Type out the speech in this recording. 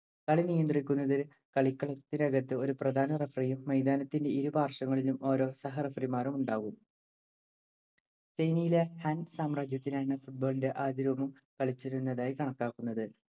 കളി നിയന്ത്രിക്കുന്നതിന് കളിക്കളത്തിനകത്ത് ഒരു പ്രധാന referee യും മൈതാനത്തിന്റെ ഇരു പാർശ്വങ്ങളിലും ഓരോ സഹ referee മാരും ഉണ്ടാകും. ചൈനയിലെ ഹാൻ സാമ്രാജ്യത്തിലാണ് football ഇന്‍റെ ആദ്യരൂപം കളിച്ചിരുന്നതായി കണക്കാക്കുന്നത്.